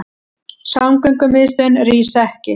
Samgöngumiðstöðin rís ekki